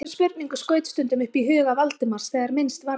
Þessari spurningu skaut stundum upp í huga Valdimars þegar minnst varði.